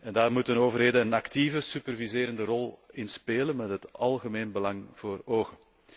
Daar moeten overheden een actieve superviserende rol in spelen, met het algemeen belang voor ogen.